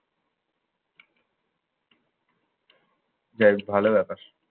যাই হোক ভালো ব্যাপার।